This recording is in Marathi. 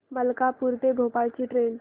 मलकापूर ते भोपाळ ची ट्रेन